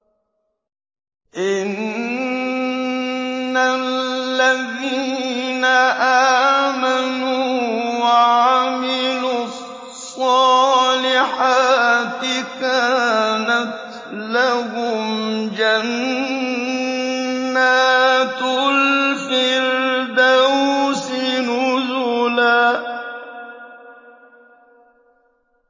إِنَّ الَّذِينَ آمَنُوا وَعَمِلُوا الصَّالِحَاتِ كَانَتْ لَهُمْ جَنَّاتُ الْفِرْدَوْسِ نُزُلًا